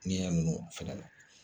N'i y'a ninnu fana na